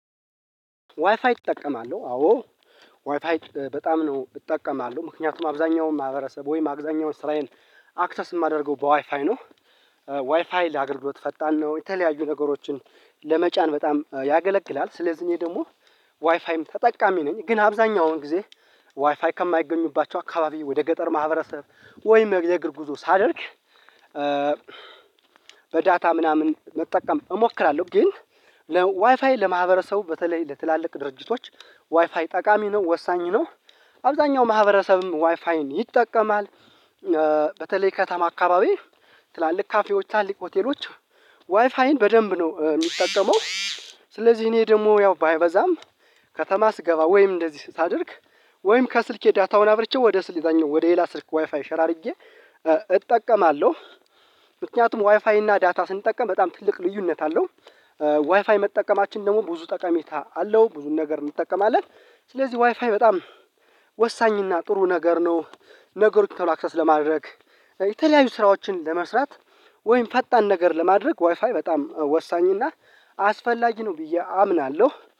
ዋይፋይ እጠቀማለሁ አዎ ዋይፋይ በጣም ነው እጠቀማለሁ ምክንያቱም አብዛኛውን ማህበረሰብ ወይም አብዛኛውን ስራዬን አክሰስ የማደርገው በዋይፋይ ነው። ዋይፋይ ለአገልግሎት ፈጣን ነው የተለያዩ ነገሮችን ለመጫን በጣም ያገለግላል ስለዚህ እኔ ደግሞ ዋይፋይም ተጠቃሚ ነኝ። ግን አብዛኛውን ጊዜ ዋይፋይ ከማይገኙባቸው አካባቢ ወደ ገጠር ማህበረሰብ ወይም የእግር ጉዞ ሳደርግ በዳታ ምናምን መጠቀም እሞክራለሁ። ግን ለዋይፋይ ለማህበረሰቡ በተለይ ለትላልቅ ድርጅቶች ዋይፋይ ጠቃሚ ነው ወሳኝ ነው። አብዛኛው ማህበረሰብም ዋይፋይን ይጠቀማል። በተለይ ከተማ አካባቢ ትላልቅ ካፌዎች ትላልቅ ሆቴሎች ዋይፋይን በደንብ ነው የሚጠቀመው። ስለዚህ እኔ ደግሞ ያው ባይበዛም ከተማ ስገባ ወይም እንደዚህ ሳደርግ ወይም ከስልኬ ዳታውን አብርቼ ወደ ስል የዛኛው ወደ ሌላ ስልክ ዋይፋይ ሼር አድርጌ እጠቀማለሁ። ምክንያቱም ዋይፋይ እና ዳታ ስንጠቀም በጣም ትልቅ ልዩነት አለው። ዋይፋይ መጠቀማችን ደግሞ ብዙ ጠቀሜታ አለው ብዙ ነገር እንጠቀማለን ስለዚህ ዋይፋይ በጣም ወሳኝ እና ጥሩ ነገር ነው። አክሰስ ለማድረግ የተለያዩ ስራዎችን ለመስራት ወይም ፈጣን ነገር ለማድረግ ዋይፋይ በጣም ወሳኝ እና አስፈላጊ ነው ብዬ አምናለሁ